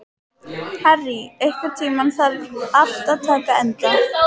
Harry, einhvern tímann þarf allt að taka enda.